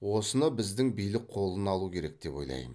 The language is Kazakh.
осыны біздің билік қолына алу керек деп ойлаймын